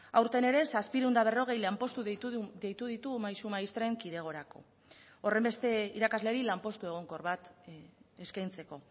aurten ere zazpiehun eta berrogei lanpostu deitu ditu maisu maistren kidegorako horrenbeste irakasleri lanpostu egonkor bat eskaintzeko